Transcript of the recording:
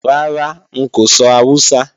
Rárá, n kò sọ Awúsá